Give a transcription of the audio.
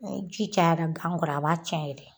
Ni ji cayara gan kɔrɔ a b'a cɛn yɛrɛ de.